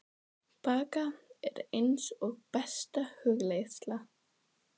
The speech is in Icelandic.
bakka er eins og besta hugleiðsla.